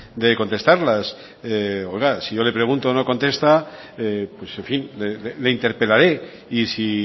de contestármelas oiga si yo le pregunto no contesta en fin le interpelaré y si